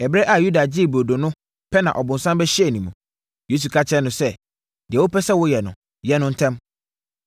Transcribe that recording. Ɛberɛ a Yuda gyee burodo no pɛ na ɔbonsam bɛhyɛɛ ne mu. Yesu ka kyerɛɛ no sɛ, “Deɛ wopɛ sɛ woyɛ no, yɛ no ntɛm!”